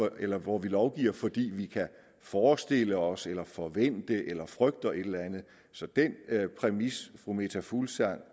eller hvor vi lovgiver fordi vi kan forestille os eller forventer eller frygter et eller andet så den præmis fru meta fuglsang